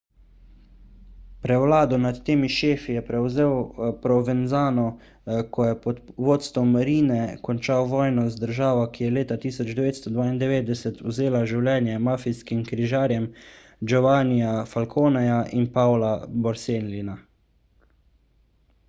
prevlado nad temi šefi je prevzel provenzano ko je pod vodstvom riine končal vojno z državo ki je leta 1992 vzela življenja mafijskih križarjev giovannija falconeja in paola borsellina